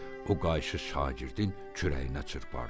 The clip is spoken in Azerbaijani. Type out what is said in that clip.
O qayışı şagirdin kürəyinə çırpardı.